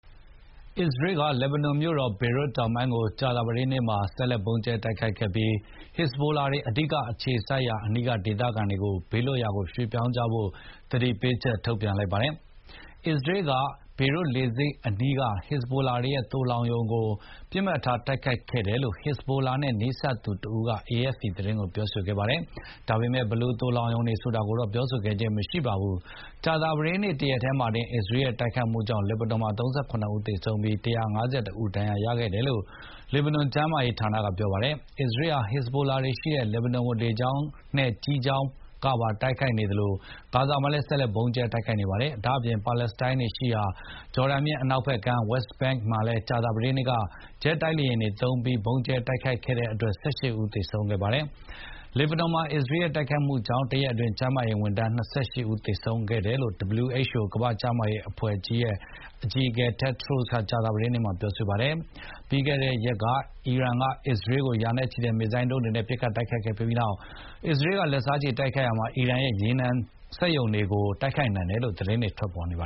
အစ္စရေးက လက်ဘနွန်မြို့တော်ဘေရွတ်မြို့တောင်ပိုင်းကို ကြာသပတေးနေ့မှာ ဆက်လက် ဗုံးကြဲတိုက်ခိုက်ခဲ့ပြီး ဟက်ဇဘိုလာတွေ အဓိကအခြေစိုက်ရာအနီးက ဒေသခံတွေကို ဘေးလွတ်ရာကိုရွှေ့ပြောင်းကြဖို့ သတိပေးချက်ထုတ်ပြန်လိုက်ပါတယ်။ အစ္စရေးက ဘေရွတ်လေဆိပ်အနီးက ဟက်ဇဘိုလာတွေရဲ့ သိုလှောင်ရုံတွေကို ပစ်မှတ်ထားတိုက်ခိုက်ခဲ့တယ်လို့ ဟက်ဇဘိုလာနဲ့ နီးစပ်သူတဦးက AFP သတင်းကိုပြောခဲ့ပါတယ်။ ဒါပေမယ့် ဘယ်လိုသိုလှောင်ရုံတွေဆိုတာကိုတော့ ပြောဆိုခဲ့ခြင်းမရှိပါဘူး။ ကြာသပတေးနေ့တရက်တည်းမှာတင် အစ္စရေးရဲ့တိုက်ခိုက်မှုကြောင့် လက်ဘနွန်မှာ ၃၇ ဦးသေဆုံးပြီး ၁၅၁ ဦးဒဏ်ရာရတယ်လို့ လက်ဘနွန်ကျန်းမာရေးဌာနက ပြောပါတယ်။ အစ္စရေးဟာ ဟက်ဇဘိုလာတွေရှိတဲ့လက်ဘနွန်ကို လေကြောင်းနဲ့ကြည်းကြောင်းက ပါဝင်ရောက်တိုက်ခိုက်နေသလို ဂါဇာမှာလည်း ဆက်လက် ဗုံးကြဲတိုက်ခိုက်နေပါတယ်။ ဒါ့အပြင် ပါလက်စတိုင်းတွေရှိရာ ဂျော်ဒန်မြစ်အနောက်ဖက်ကမ်း Westbank မှာလည်း ကြာသပတေးနေ့က အစ္စရေးက ဂျက်တိုက်လေယဉ်တွေပါသုံးပြီး ဗုံးကြဲတိုက်ခိုက်ခဲ့တဲ့အတွက် ၁၈ ဦးသေဆုံးခဲ့ပါတယ်။ လက်ဘနွန်မှာ အစ္စရေးရဲ့တိုက်ခိုက်မှုကြောင့် တရက်အတွင်း ကျန်းမာရေးဝန်ထမ်း ၂၈ ဦးသေဆုံးခဲ့တယ်လို့ WHO အကြီးအကဲ တက်ဒရို့စ်က ကြာသပတေးနေ့မှာ ပြောဆိုပါတယ်။ ပြီးခဲ့တဲ့ရက်က အီရန်ကအစ္စရေးကို ရာနဲ့ချီတဲ့ မစ်ဇိုင်းဒုန်းတွေနဲ့ပစ်ခတ်ခဲ့ပြီးနောက် အစ္စရေးကလက်စားချေတိုက်ခိုက်ရာ အီရန်ရဲ့ ရေနံနဲ့လောင်စာဆီစက်ရုံတွေကိုပါ တိုက်ခိုက်နိုင်တယ်လို့သတင်းတွေထွက်ပေါ်နေပ